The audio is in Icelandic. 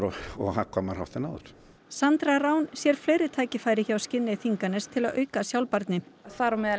og hagkvæmari hátt en áður Sandra Rán sér fleiri tækifæri hjá Skinney Þinganes til að auka sjálfbærni þar á meðal